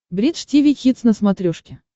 бридж тиви хитс на смотрешке